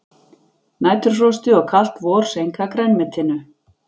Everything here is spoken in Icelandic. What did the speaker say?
Næturfrostið og kalt vor seinka grænmetinu